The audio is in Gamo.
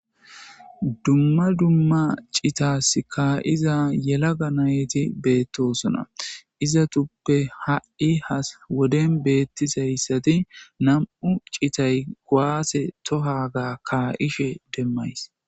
dumma dumma citas ka7iza yelaga nayti beettosona izatuppe ha7i ha woden beettizayssati nam7u citay goaase tohaga ka7ishe demmays